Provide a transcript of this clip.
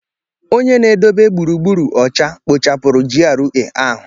Onye na edobe gburugburu ocha kpochapụrụ GRA ahụ.